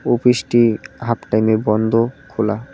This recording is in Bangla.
ওফিসটি হাফ টাইমে বন্ধ খোলা।